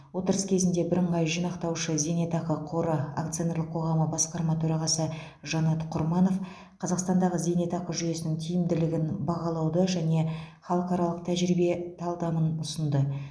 отырыс кезінде бірыңғай жинақтаушы зейнетақы қоры акционерлік қоғамы басқарма төрағасы жанат құрманов қазақстандағы зейнетақы жүйесінің тиімділігін бағалауды және халықаралық тәжірибе талдамын ұсынды